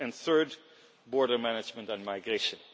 and, third, border management and migration.